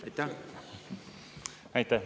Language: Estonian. Aitäh!